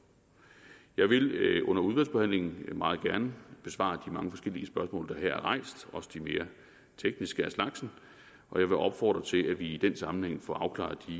jeg vil under udvalgsbehandlingen meget gerne besvare de mange forskellige spørgsmål der her er rejst også de mere tekniske af slagsen og jeg vil opfordre til at vi i den sammenhæng får afklaret de